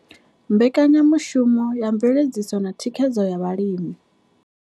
Mbekanya mushumo ya Mveledziso na Thikhedzo ya Vhalimi.